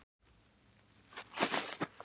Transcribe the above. Loftur, lækkaðu í græjunum.